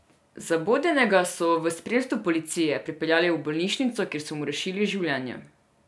Zabodenega so v spremstvu policije prepeljali v bolnišnico, kjer so mu rešili življenje.